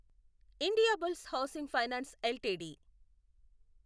Indiabulls housing finance LTD